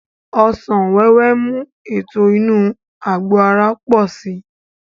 Ọsàn wẹ́wẹ́ ń mú ètò inú àgbò ara pò si